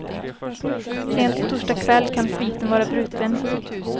Sent på torsdag kväll kan sviten vara bruten.